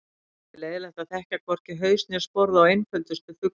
Mikið er leiðinlegt að þekkja hvorki haus né sporð á einföldustu fuglum.